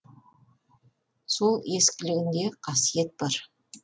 сол ескілігінде қасиет бар